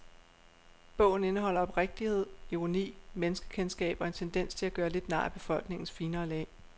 Bogen indeholder oprigtighed, ironi, menneskekendskab og en tendens til at gøre lidt nar af befolkningens finere lag.